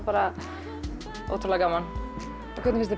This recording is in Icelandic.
ótrúlega gaman hvernig finnst